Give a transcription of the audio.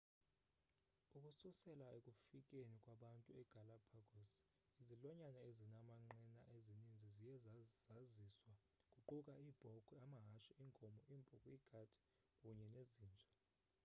ukususela ekufikeni kwabantu egalapagos izilwanyana ezinamanqina ezininzi ziye zaziswa kuquka iibhokhwe amahashe iinkomo iimpuku iikati kunye nezinja